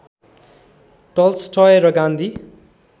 Tolstoy र गान्धी